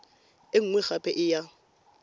e nngwe gape e ya